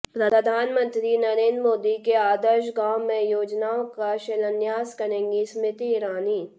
प्रधानमंत्री नरेन्द्र मोदी के आदर्श गांव में योजनाओं का शिलान्यास करेंगी स्मृति ईरानी